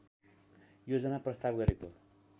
योजना प्रस्ताव गरेको